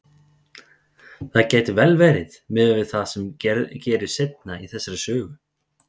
Það gæti vel verið, miðað við það sem gerist seinna í þessari sögu.